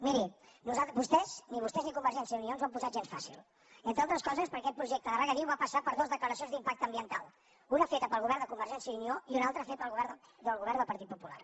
miri ni vostès ni convergència i unió ens ho han posat gens fàcil entre altres coses perquè aquest projecte de regadiu va passar per dues declaracions d’impacte ambiental una feta pel govern de convergència i unió i una altra feta pel govern del partit popular